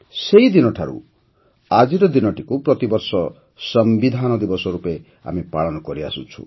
ସେହିଦିନ ଠାରୁ ଆଜିର ଦିନଟିକୁ ପ୍ରତିବର୍ଷ ସମ୍ବିଧାନ ଦିବସ ରୂପେ ଆମେ ପାଳନ କରିଆସୁଛୁ